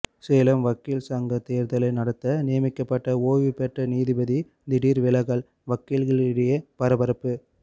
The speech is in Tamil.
சேலம் வக்கீல் சங்க தேர்தலை நடத்த நியமிக்கப்பட்ட ஓய்வு பெற்ற நீதிபதி திடீர் விலகல் வக்கீல்களிடையே பரபரப்பு